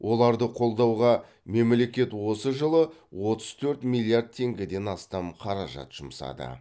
оларды қолдауға мемлекет осы жылы отыз төрт миллиард теңгеден астам қаражат жұмсады